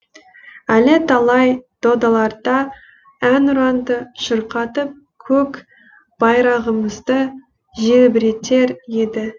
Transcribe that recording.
әлі талай додаларда әнұранды шырқатып көк байрағымызды желбіретер еді